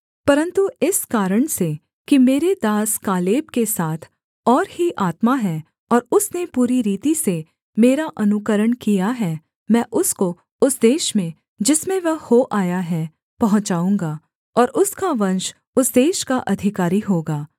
परन्तु इस कारण से कि मेरे दास कालेब के साथ और ही आत्मा है और उसने पूरी रीति से मेरा अनुकरण किया है मैं उसको उस देश में जिसमें वह हो आया है पहुँचाऊँगा और उसका वंश उस देश का अधिकारी होगा